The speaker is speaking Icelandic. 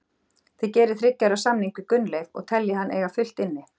Þið gerið þriggja ára samning við Gunnleif og teljið hann eiga fullt inni?